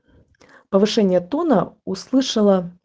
повышение тона услышала